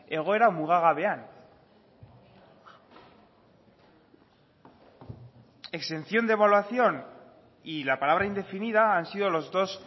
egoera mugagabean exención de evaluación y la palabra indefinida han sido los dos